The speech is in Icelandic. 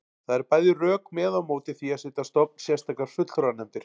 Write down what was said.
Það eru bæði rök með og á móti því að setja á stofn sérstakar fulltrúanefndir.